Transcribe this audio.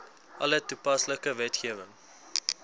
alle toepaslike wetgewing